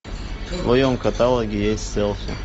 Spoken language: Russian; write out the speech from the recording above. в твоем каталоге есть селфи